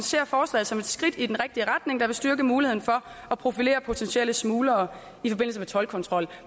ser forslaget som et skridt i den rigtige retning der vil styrke muligheden for at profilere potentielle smuglere i forbindelse med toldkontrol